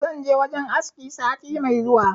Zan je wajen aski sati me zuwa